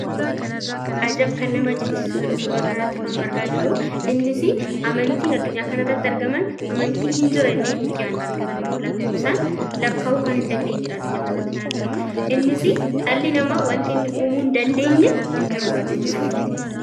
Ajab! kan nama jechisiisuudha suuraa kana irratti kan nu argaa jirru. Innis amantiin addunyaa kana irratti argaman amantii in jira jennee nuti hinyaadne yookaan ammoo lakkoofsaan lakkaa'uu kan hindandeenyeedha addunyaa kana irratti kan argamu. Innis dhalli namaa wanti inni uumuu hindandeenye hinjiruudha addunyaa kana irratti.